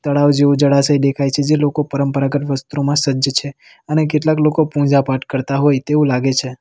તળાવ જેવુ જળાશય દેખાય છે જે લોકો પરંપરાગત વસ્ત્રોમાં સજ્જ છેે અને કેટલાક લોકો પૂજા પાઠ કરતા હોય તેવું લાગે છે.